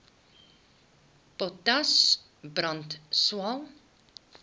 potas brand swael